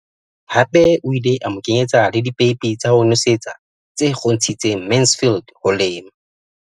Hape o ile a mo kenyetsa le dipeipi tsa ho nosetsa tse kgontshitseng Mansfield ho lema.